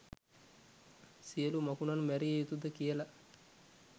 සියළු මකුණන් මැරිය යුතුද කියලා